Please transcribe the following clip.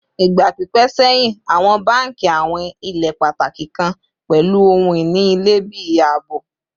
Igba pipẹ sẹhin awọn banki awin ile pataki kan pẹlu ohun-ini ilẹ bi aabo